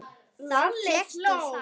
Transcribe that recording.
Þá fékkst þú far.